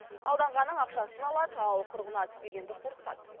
алданғанның ақшасын алады ал құрығына түспегенді қорқытады